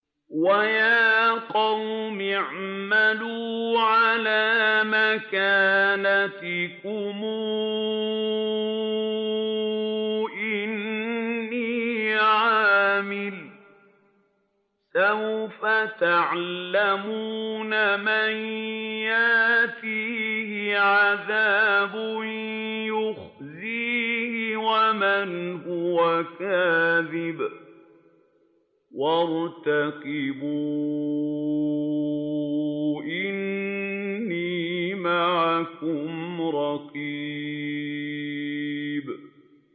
وَيَا قَوْمِ اعْمَلُوا عَلَىٰ مَكَانَتِكُمْ إِنِّي عَامِلٌ ۖ سَوْفَ تَعْلَمُونَ مَن يَأْتِيهِ عَذَابٌ يُخْزِيهِ وَمَنْ هُوَ كَاذِبٌ ۖ وَارْتَقِبُوا إِنِّي مَعَكُمْ رَقِيبٌ